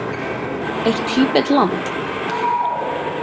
Er Tíbet land?